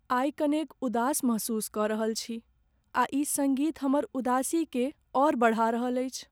आइ कनेक उदास महसूस कऽ रहल छी आ ई सङ्गीत हमर उदासीकेँ आओर बढ़ा रहल अछि।